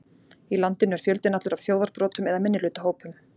Í landinu er fjöldinn allur af þjóðarbrotum eða minnihlutahópum.